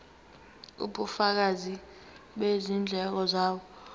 ubufakazi bezindleko zabo